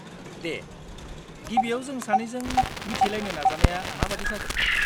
दे, गिबियाव जों सानैजों मिथिलायनो नाजानाया माबादि जागोन?